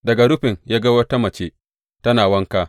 Daga rufin ya ga wata mace tana wanka.